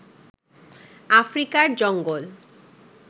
আফ্রিকার জঙ্গল